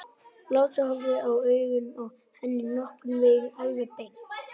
Lási horfði í augun á henni, nokkurn veginn alveg beint.